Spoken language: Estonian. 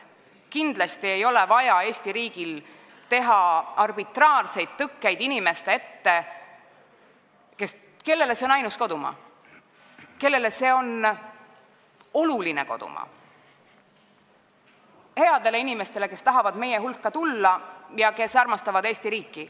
Kindlasti ei ole Eesti riigil vaja panna arbitraarseid tõkkeid inimeste ette, kellele see on ainus ja oluline kodumaa, ega heade inimeste ette, kes tahavad meie hulka tulla ja kes armastavad Eesti riiki.